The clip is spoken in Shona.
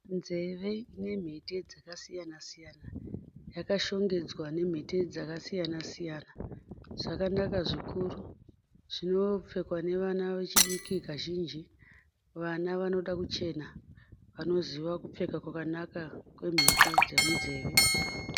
Nzeve nemhete dzakasiyana siyana. Yakashongedzwa nemhete dzakasiyana siyana. Dzakanaka zvikuru. Dzinopfekwa nevana vechidiki kazhinji. Vana vanoda kuchena vanoziva kupfeka kwakanaka kwemhete dzemunzeve.